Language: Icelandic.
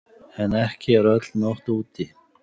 En ekki er öll nótt úti.